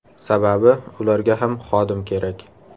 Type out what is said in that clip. Sababi, ularga ham xodim kerak.